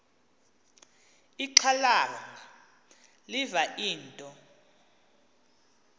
ixhalanga liva into